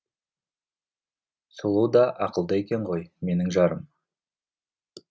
сұлу да ақылды екен ғой менің жарым